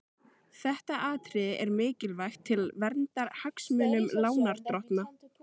Þetta atriði er mikilvægt til verndar hagsmunum lánardrottna.